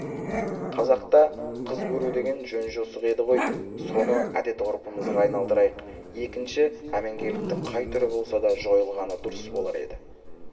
қазақта қыз көру деген жөн-жосық еді ғой соны әдет-ғұрпымызға айналдырайық екінші әмеңгерліктің қай түрі болса да жойылғаны дұрыс болар еді